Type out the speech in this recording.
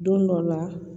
Don dɔ la